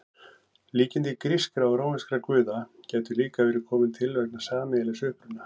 Líkindi grískra og rómverskra guða gætu líka verið komin til vegna sameiginlegs uppruna.